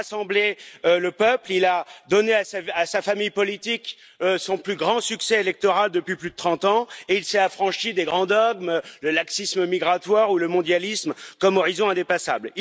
Il a rassemblé le peuple, il a donné à sa famille politique son plus grand succès électoral depuis plus de trente ans et il s'est affranchi des grands dogmes le laxisme migratoire ou le mondialisme comme horizon indépassable.